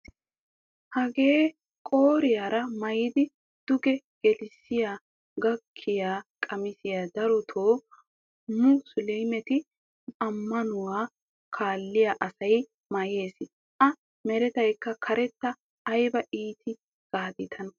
Hagee qooriyara maayidi duuge gaadiyaa gaakkiyaa qamisiyaa darotoo musulumee ammanuwaa kaalliyaa asay mayees. a merakka karetta ayba ittees gaadi taana.